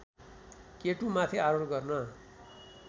केटुमाथि आरोहण गर्न